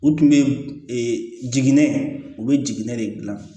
U tun bɛ jiginɛ u bɛ jiginɛ de gilan